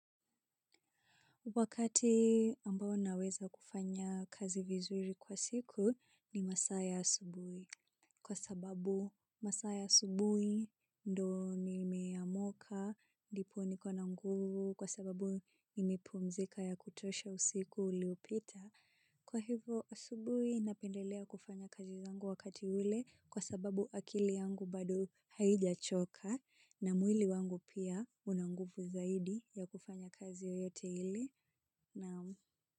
Wakati ambao naweza kufanya kazi vizuri kwa siku ni masa ya asubui. Kwa sababu masaya asubui ndo ni meyamoka, dipu ni kwa nanguru, kwa sababu imipu mzika ya kutosha usiku uliopita. Kwa hivo asubui inapendelea kufanya kazi zangu wakati ule kwa sababu akili yangu bado haija choka na mwili wangu pia unangufu zaidi ya kufanya kazi oyote ili. Nom.